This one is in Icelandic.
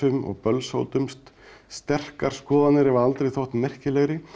og bölsótumst sterkar skoðanir hafa aldrei þótt merkilegri